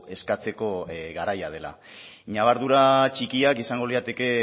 eskatzeko garaia dela ñabardura txikiak izango lirateke